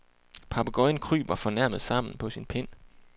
Papegøjen kryber fornærmet sammen på sin pind.